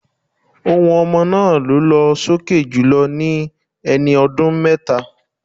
Ohùn ọmọ náà lọ́ sókè jùlọ ní ẹni ọdún méta.